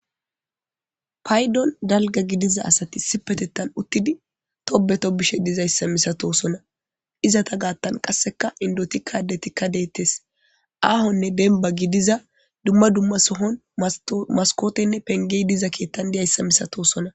Paydon daalgga gidiza asati issippetettan uttidi toobbe toobbishe dizaysa misatoosona. Izza gaatan qaasseka endotika adetika deetes. Aahone deemmba giidiza dumma dumma sohon maskotene penge diiza keeththan diiyayisa miisatoosona.